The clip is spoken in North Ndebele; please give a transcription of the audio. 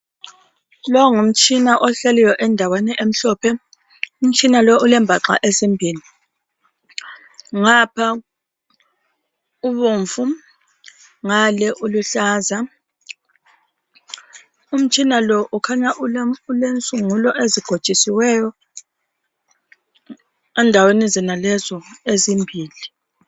Lo ngumtshina ohleliyo endaweni emhlophe umtshina lo ulembaxa ezimbili ngapha ibomvu ngale uluhlaza umtshina lo ukhanya ulensungulo ezigotshisiweyo endaweni zonalezo ezimbili.